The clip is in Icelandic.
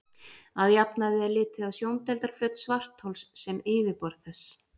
Að jafnaði er litið á sjóndeildarflöt svarthols sem yfirborð þess.